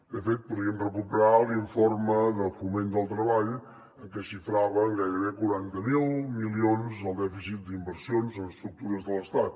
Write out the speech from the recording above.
de fet podríem recuperar l’informe de foment del treball en què es xifrava en gairebé quaranta miler milions el dèficit d’inversions en estructures de l’estat